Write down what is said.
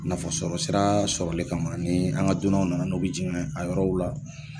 Nafasɔrɔ sira sɔrɔli kama ni an ga dunnaw nana n'o bi jigin a yɔrɔw la